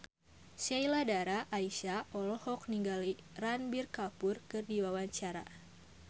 Sheila Dara Aisha olohok ningali Ranbir Kapoor keur diwawancara